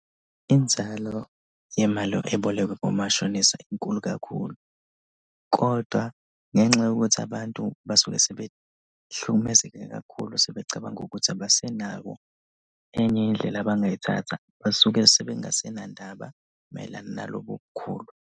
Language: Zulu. Inzalo yemali ebolekwe kumashonisa inkulu kakhulu, kodwa ngenxa yokuthi abantu basuke sebehlukumezeke kakhulu. Sebecabanga ukuthi abasenako enye indlela abangayithatha basuke sebengasenandaba mayelana nalobo bukhulu.